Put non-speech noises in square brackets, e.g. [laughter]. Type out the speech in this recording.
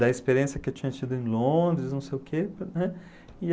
da experiência que eu tinha tido em Londres, não sei o quê, [unintelligible] né?